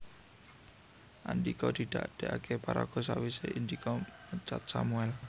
Andhika didadèkaké paraga sawisé Indika mecat Sammuel